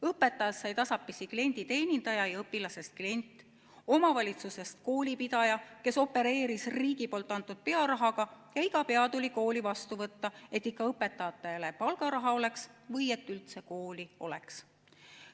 Õpetajast sai tasapisi klienditeenindaja ja õpilasest klient, omavalitsusest koolipidaja, kes opereeris riigi antud pearahaga, ja iga pea tuli kooli vastu võtta, et ikka õpetajatele palgaraha oleks või et üldse kooli oleks.